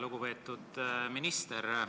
Lugupeetud minister!